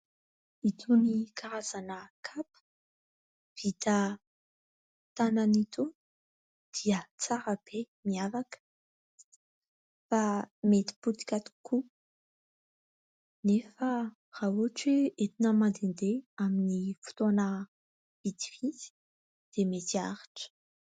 Itony karazana kapa vita tanana itony dia tsara be, miavaka, fa mety potika tokoa. Nefa raha ohatra hoe entina mandehandeha amin'ny fotoana vitsivitsy dia mety aharitra.